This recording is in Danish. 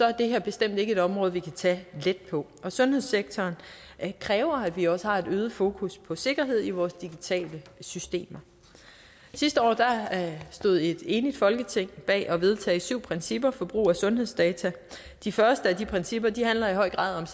er det her bestemt ikke et område vi kan tage let på sundhedssektoren kræver at vi også har et øget fokus på sikkerhed i vores digitale systemer sidste år stod et enigt folketing bag at vedtage syv principper for brug af sundhedsdata de første af de principper handler i høj grad